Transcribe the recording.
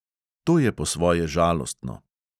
To je po svoje žalostno.